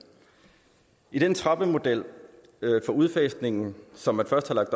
i den trappemodel for udfasningen som man først havde